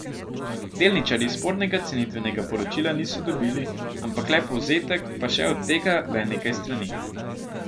Delničarji spornega cenitvenega poročila niso dobili, ampak le povzetek, pa še od tega le nekaj strani.